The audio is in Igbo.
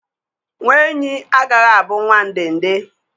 Nwa enyí agaghị abụ nwa ndende